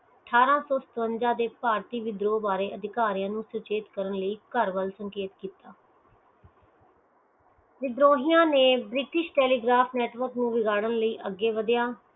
ਅਠਾਰਸੋ ਸਤਵਿੰਜਾ ਦੇ ਭਾਰਤੀ ਵਿਬਰੋ ਬਾਰੇ ਅਧਿਕਾਰੀਆਂ ਨੂੰ ਸਚੇਤ ਕਰਨ ਲਈ ਘਰ ਵੱਲ ਸਚਿਤ ਵਿਦ੍ਰੋਹੀਆਂ ਨੈ ਬ੍ਰਿਟਿਸ਼ ਟੈਲੀਗ੍ਰਾਫ ਨੈੱਟਵਰਕ ਨੂੰ ਵਿਗਾੜਨ ਲਈ ਅਗੇ ਵਗਿਆ